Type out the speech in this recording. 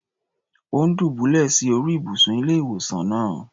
Ò́ ń dùbúlẹ̀ sí orí ìbùsùn ilé-ìwòsàn náà.